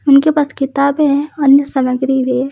उनके पास किताबे है अन्य सामग्री भी --